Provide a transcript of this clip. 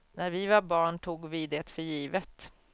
När vi var barn tog vi det för givet.